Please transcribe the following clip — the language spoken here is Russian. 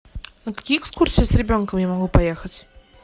на какие экскурсии с ребенком я могу поехать